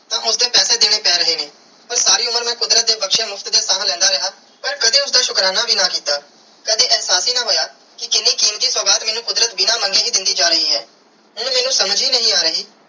ਤੇ ਉਸਦੇ ਪੈਸੇ ਦਿਨੇ ਪੈ ਰਹੇ ਨੇ ਪਾਰ ਸਾਰੀ ਉਮਰ ਮੈਂ ਕੁਦਰਤ ਦੀ ਬਖਸ਼ਿਆ ਮੁਫ਼ਤ ਦੀਆ ਸਾਹ ਲੈਂਦਾ ਰਿਆ ਪਾਰ ਕਦੀ ਉਸਦਾ ਸ਼ੁਕਰਾਨਾ ਵੀ ਨਾ ਕਿੱਤਾ ਕਦੀ ਇਹਸਾਸ ਹੀ ਨਾ ਹੋਇਆ ਕਿ ਕੀਨੀ ਕੀਮਤੀ ਸੁਗਾਤ ਮੈਨੂੰ ਕੁਦਰਤ ਬਿਨਾ ਮੰਗੇ ਹੀ ਦੇਂਦੀ ਜਾ ਰਾਏ ਹੈ ਹੁਣ ਮੈਨੂੰ ਸਮਝ ਹੀ ਨਹੀਂ ਆਹ ਰਹੀ.